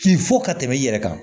Fin fo ka tɛmɛ i yɛrɛ kan